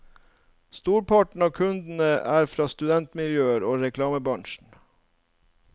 Storparten av kundene er fra studentmiljøet og reklamebransjen.